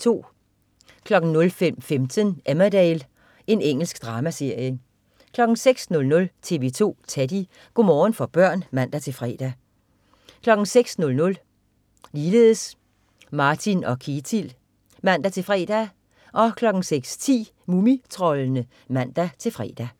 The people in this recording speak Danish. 05.15 Emmerdale. Engelsk dramaserie 06.00 TV 2 Teddy. Go' morgen for børn (man-fre) 06.00 Martin og Ketil (man-fre) 06.10 Mumitroldene (man-fre)